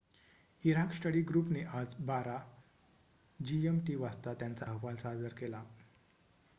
Iraq study group ने आज १२.०० gmt वाजता त्यांचा अहवाल सादर केला